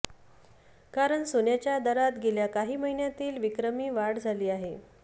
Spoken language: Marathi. कारण सोन्याच्या दरात गेल्या काही महिन्यातील विक्रमी वाढ झाली आहे